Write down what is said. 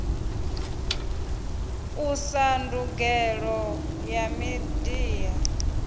usa na ndangulo ya midia